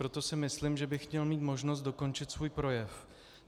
Proto si myslím, že bych měl mít možnost dokončit svůj projev.